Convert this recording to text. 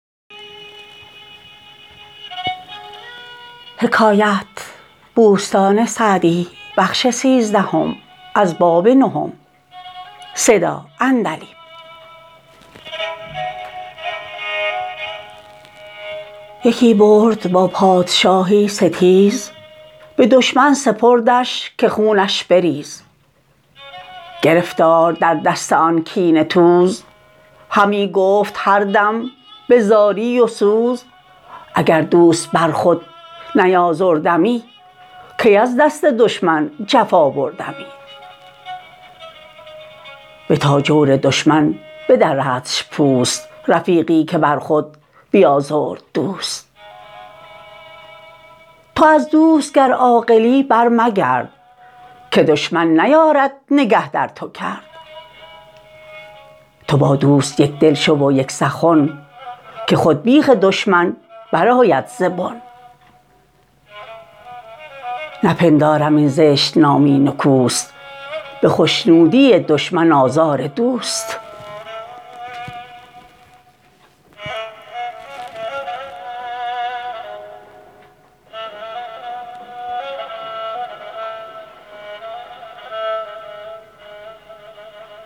یکی برد با پادشاهی ستیز به دشمن سپردش که خونش بریز گرفتار در دست آن کینه توز همی گفت هر دم به زاری و سوز اگر دوست بر خود نیازردمی کی از دست دشمن جفا بردمی بتا جور دشمن بدردش پوست رفیقی که بر خود بیازرد دوست تو از دوست گر عاقلی بر مگرد که دشمن نیارد نگه در تو کرد تو با دوست یکدل شو و یک سخن که خود بیخ دشمن برآید ز بن نپندارم این زشت نامی نکوست به خشنودی دشمن آزار دوست